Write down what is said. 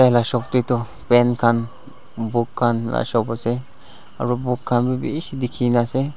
la shop tae toh pen khan book khan la shop ase aru book khan bishi dikhi na ase.